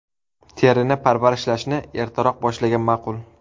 Terini parvarishlashni ertaroq boshlagan ma’qul.